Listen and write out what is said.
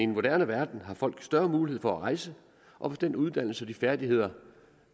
moderne verden har folk større mulighed for at rejse og med den uddannelse og de færdigheder